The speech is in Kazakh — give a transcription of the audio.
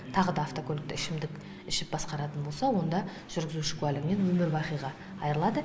тағы да автокөлікті ішімдік ішіп басқаратын болса онда жүргізуші куәлігінен өмір бақиға айырылады